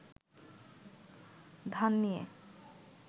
ধান নিয়ে